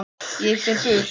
Ég fer burt.